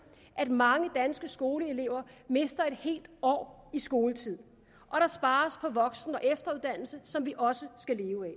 at mange danske skoleelever mister et helt år i skoletid og der spares på voksen og efteruddannelse som vi også skal leve af